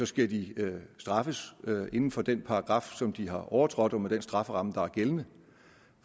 skal de straffes inden for den paragraf som de har overtrådt og med den strafferamme der er gældende